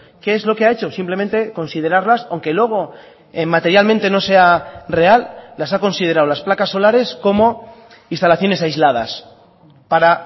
qué es lo que ha hecho simplemente considerarlas aunque luego materialmente no sea real las ha considerado las placas solares como instalaciones aisladas para